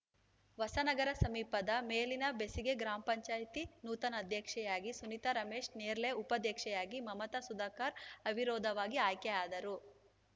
ಹೊಸನಗರ ಸಮೀಪದ ಮೇಲಿನಬೆಸಿಗೆ ಗ್ರಾಮ ಪಂಚಾಯತಿ ನೂತನ ಅಧ್ಯಕ್ಷೆಯಾಗಿ ಸುನೀತಾ ರಮೇಶ ನೇರ್ಲೆ ಉಪಾಧ್ಯಕ್ಷೆಯಾಗಿ ಮಮತಾ ಸುಧಾಕರ ಅವಿರೋಧವಾಗಿ ಆಯ್ಕೆಯಾದರು